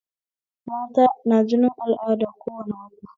Mata na jinin al'ada kowane wata